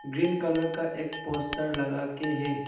Green colour का एक poster लगाके है।